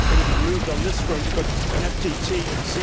Things have moved on this front but an FTT of